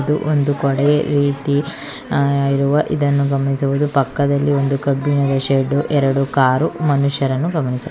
ಇದು ಒಂದು ಗ್ಚಾಡೆಯ ರೀತಿ ಇರುವ ಇದನ್ನು ಗಮನಿಸಬಹುದು ಪಕ್ಕದಲ್ಲಿ ಒಂದು ಕಬ್ಬಿಣದ ಶೆಡ್ಡು ಎರಡು ಕಾರು ಮನುಷ್ಯರನ್ನು ಗಮನಿಸ--